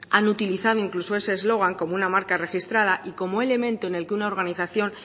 han utilizado incluso ese eslogan como una marca registrada y como elemento en el que una organización